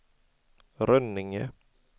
Rönninge